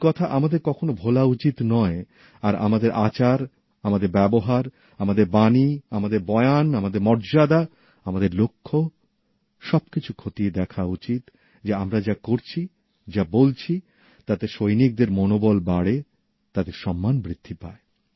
এই কথা আমাদের কখনও ভোলা উচিত নয় আর আমাদের আচার আমাদের ব্যবহার আমাদের বক্তব্য আমাদের বয়ান আমাদের মর্যাদা আমাদের লক্ষ্য সব কিছু খতিয়ে দেখা উচিত যে আমরা যা করছি যা বলছি তাতে সৈনিকদের মনোবল বাড়ে তাদের সম্মান বৃদ্ধি পায়